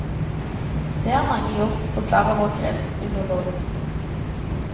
Dét har mange gjort, forklarer vår greskfilolog.